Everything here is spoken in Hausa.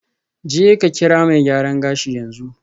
Jeka kira mai gyaran gashi yanzu.